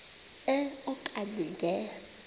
e okanye nge